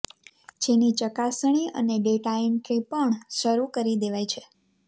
જેની ચકાસણી અને ડેટા એન્ટ્રી પણ શરૂ કરી દેવાઇ છે